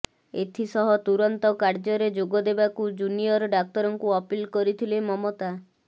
ଏଥିସହ ତୁରନ୍ତ କାର୍ଯ୍ୟରେ ଯୋଗ ଦେବାକୁ ଜୁନିୟର ଡାକ୍ତରଙ୍କୁ ଅପିଲ କରିଥିଲେ ମମତା